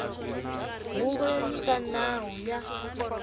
huvo yo nyika nawu ya